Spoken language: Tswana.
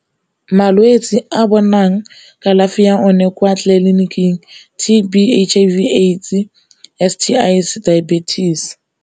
Malwetse a bonang kalafi ya one kwa tleliniking T_B, H_I_V, AIDS, S_T_Is, diabetes.